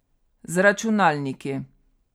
Z računalniki.